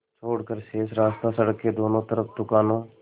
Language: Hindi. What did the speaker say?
छोड़कर शेष रास्ता सड़क के दोनों तरफ़ दुकानों